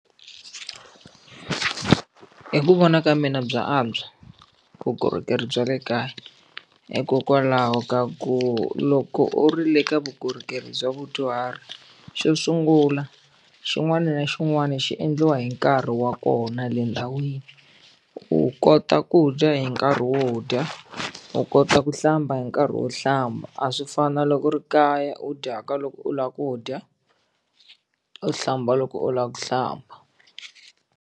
Hi ku vona ka mina bya antswa vukorhokeri bya le kaya hikokwalaho ka ku loko u ri le ka vukorhokeri bya vadyuhari xo sungula xin'wana na xin'wana xi endliwa hi nkarhi wa kona le ndhawini u kota ku dya hi nkarhi wo dya u kota ku hlamba hi nkarhi wo hlamba a swi fani na loko ri kaya u dyaka loko u lava ku dya u hlamba loko u lava ku hlamba.